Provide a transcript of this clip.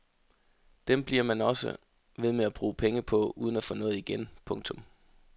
Dem bliver man også ved med at bruge penge på uden at få noget igen. punktum